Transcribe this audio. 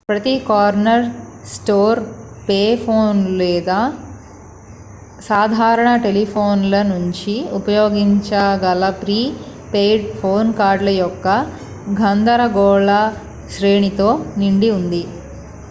ప్రతి corner store pay ఫోన్లు లేదా సాధారణ టెలిఫోన్ల నుంచి ఉపయోగించగల ప్రీ పెయిడ్ ఫోన్ కార్డుల యొక్క గందరగోళశ్రేణితో నిండి ఉంది